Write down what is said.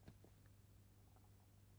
Kabir: Digte Punktbog 195046